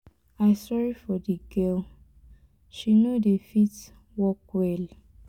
i sorry for the girl she no dey fit walk well.